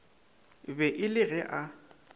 be e le ge a